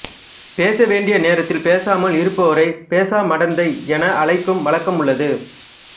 பேச வேண்டிய நேரத்தில் பேசாமல் இருப்போரைப் பேசா மடந்தை என அழைக்கும் வழக்கம் உள்ளது